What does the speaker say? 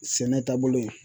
Sɛnɛ taabolo ye